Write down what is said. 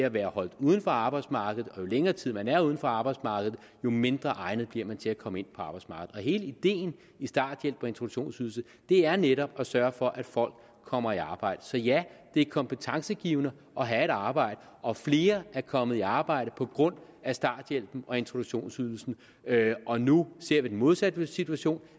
at være holdt uden for arbejdsmarkedet jo længere tid man er uden for arbejdsmarkedet jo mindre egnet bliver man til at komme ind på arbejdsmarkedet og hele ideen i starthjælp og introduktionsydelse er netop at sørge for at folk kommer i arbejde så ja det er kompetencegivende at have et arbejde og flere er kommet i arbejde på grund af starthjælpen og introduktionsydelsen og nu ser vi den modsatte situation